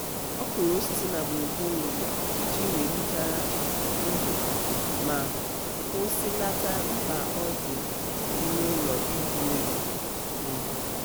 ọ kụrụ osisi na gburugburu ụlọ iji welite ndo ma kwụsịlata mkpa ọ dị ime ụlọ ịjụ oyi. oyi.